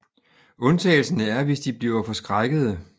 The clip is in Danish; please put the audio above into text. Undtagelsen er hvis de bliver forskrækkede